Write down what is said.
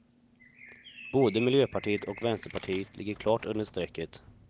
Både miljöpartiet och vänsterpartiet ligger klart under strecket.